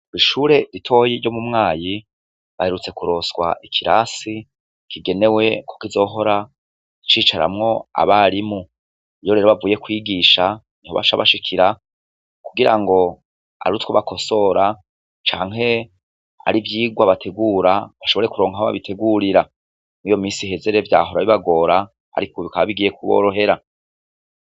Bishure ritoyi ryo mu mwayi baherutse kuroswa ikirasi kigenewe ko kizohora icicaramwo abarimu iyo rero bavuye kwigisha nitobasha bashikira kugira ngo ari utwo bakosora canke ari vyirwa bategura bashobore kuronkwabbabitegurira mu iyo misi hezere vya horabibagora, ariko ubikaba bigiye kuborohera.